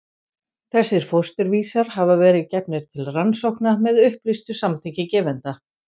Þessir fósturvísar hafa verið gefnir til rannsókna með upplýstu samþykki gefenda.